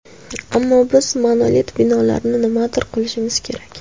Ammo biz monolit binolarni nimadir qilishimiz kerak.